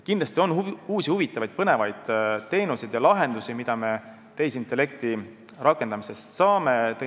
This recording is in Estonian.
Kindlasti on uusi, huvitavaid, põnevaid teenuseid ja lahendusi, mida me tehisintellekti rakendamisest saame.